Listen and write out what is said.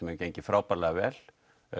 hefur gengið frábærlega vel